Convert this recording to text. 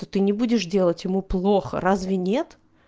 то ты не будешь делать ему плохо разве нет